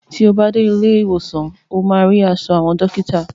Ti o bá dé ilé ìwòsàn ó máa rí aṣọ àwọn dọ́kítà.